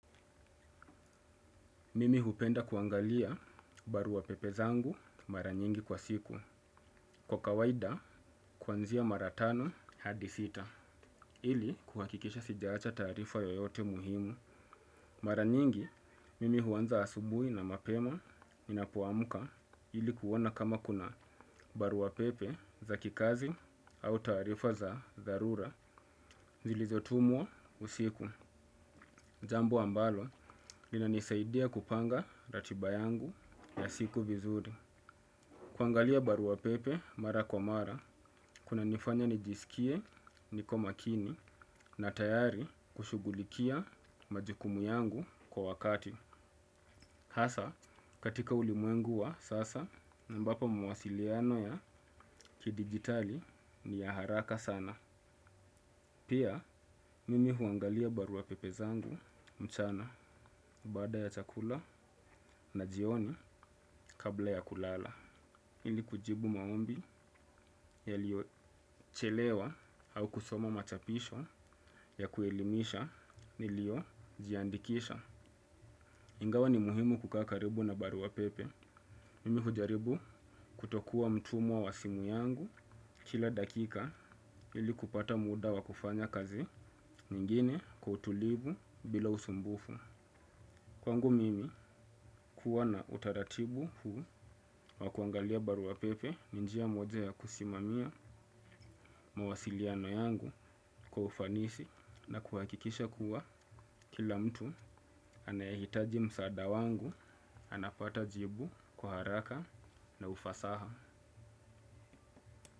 Mimi hupenda kuangalia barua pepe zangu mara nyingi kwa siku. Kwa kawaida, kwanzia mara tano hadi sita. Ili, kuhakikisha sijaacha tarifa yoyote muhimu. Mara nyingi, mimi huanza asubui na mapema ninapoamuka ilikuwona kama kuna barua pepe za kikazi au tarifa za darura. Zilizotumwa usiku. Jambo ambalo, lina nisaidia kupanga ratiba yangu ya siku vizuri. Kuangalia barua pepe mara kwa mara, kuna nifanya nijisikie niko makini na tayari kushugulikia majukumu yangu kwa wakati. Hasa, katika ulimuengu wa sasa, ambapo mwasiliano ya kidigitali ni ya haraka sana. Pia, mimi huangalia barua pepe zangu mchana. Bada ya chakula na jioni kabla ya kulala ili kujibu maombi yalio chelewa au kusoma machapisho ya kuelimisha nilio jiandikisha. Ingawa ni muhimu kukaa karibu na baruwa pepe mimi hujaribu kutokua mtumwa wa simu yangu kila dakika ili kupata muda wa kufanya kazi ingine kwa utulivu bila usumbufu. Kwangu mimi kuwona utaratibu huu wa kuangalia baruwa pepe ni njia moja ya kusimamia mawasiliano yangu kwa ufanisi na kuhakikisha kuwa kila mtu anayehitaji msada wangu anapata jibu kwa haraka na ufasaha.